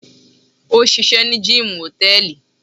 òṣìṣẹ́ ní gíìmù hòtẹ́ẹ̀lì.